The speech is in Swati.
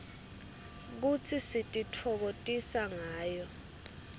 futsi sititfokotisa ngayo